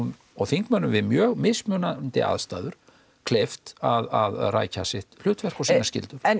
og þingmönnum við mjög mismunandi aðstæður kleift að rækja sitt hlutverk og sínar skyldur en